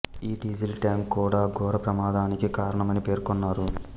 ఈ diesel tank కూడా ఘోర ప్రమాదానికి కారణమని పేర్కొన్నారు